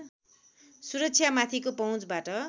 सुरक्षामाथिको पहुँचबाट